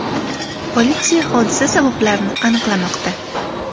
Politsiya hodisa sabablarini aniqlamoqda.